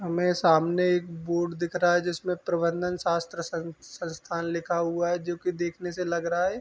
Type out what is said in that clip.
हमे सामने एक बोर्ड दिख रहा है जिसमे प्रबंदन शास्त्र शन संस्थान लिखा हुआ है जोकि देखने से लग रहा है।